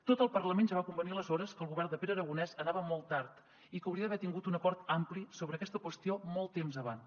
tot el parlament ja va convenir aleshores que el govern de pere aragonès anava molt tard i que hauria d’haver tingut un acord ampli sobre aquesta qüestió molt temps abans